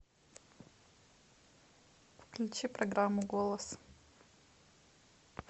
включи программу голос